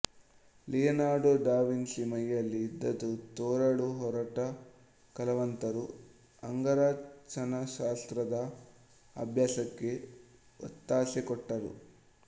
Leonardo da Vinci ಮೈಯಲ್ಲಿ ಇದ್ದದ್ದು ತೋರಲು ಹೊರಟ ಕಲಾವಂತರು ಅಂಗರಚನಾಶಾಸ್ತ್ರದ ಅಭ್ಯಾಸಕ್ಕೆ ಒತ್ತಾಸೆ ಕೊಟ್ಟರು